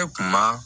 E kun ma